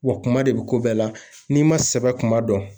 Wa kuma de bɛ ko bɛɛ la n'i ma sɛbɛ kuma dɔn